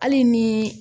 Hali ni